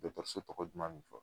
tɔgɔ duman bɛ fɔ.